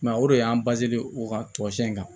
o de y'an u ka tamasiyɛn kan